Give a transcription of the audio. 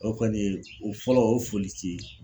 O kɔni ye o fɔlɔ o ye folici ye.